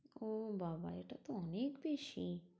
ও বাবা এটা তো অনেক বেশি।